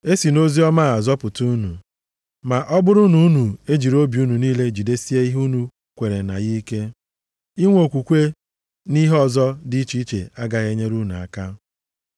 E si nʼoziọma a zọpụta unu, ma ọ bụrụ na unu ejiri obi unu niile jidesie ihe unu kweere na ya ike. Inwe okwukwe nʼihe ọzọ dị iche agaghị enyere unu aka.